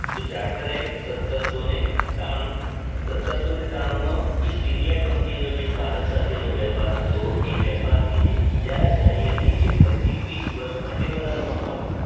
તો charter act સતરસોને તાણું~સતરસોને તાણુંમાં ઇસ્ટ india company નો જે ભારત સાથે નો વેપાર હતો એ વેપારની જે ઈજારાશાહી હતી એ ફરીથી વિસ વર્ષ માટે વધારવામાં આવી